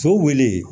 So wele